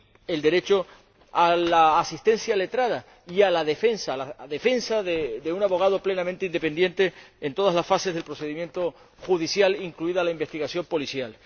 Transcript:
el derecho a la asistencia letrada y a la defensa y la defensa de un abogado plenamente independiente en todas las fases del procedimiento judicial, incluida la investigación policial.